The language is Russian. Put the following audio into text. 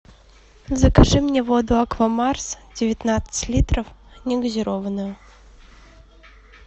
закажи мне воду аква марс девятнадцать литров негазированную